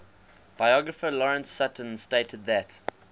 biographer lawrence sutin stated that